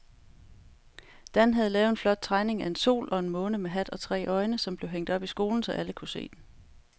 Dan havde lavet en flot tegning af en sol og en måne med hat og tre øjne, som blev hængt op i skolen, så alle kunne se den.